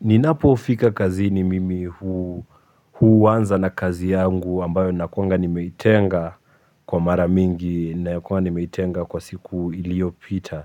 Ninapofika kazini mimi huanza na kazi yangu ambayo nakuanga nimeitenga kwa mara mingi nakuanga nimeitenga kwa siku iliyopita